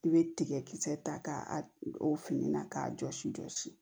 I bɛ tigɛ kisɛ ta k'a o fini na k'a jɔsi jɔsi